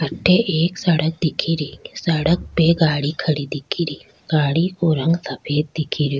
अठे एक सड़क दिख री सड़क पे गाड़ी खड़ी दिख रि गाड़ी का रंग सफ़ेद दिख रो।